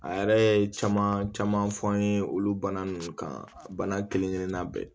A yɛrɛ ye caman caman fɔ an ye olu bana ninnu kan bana kelen-kelennan bɛɛ